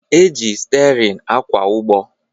E ji stịarịn akwa ụgbọ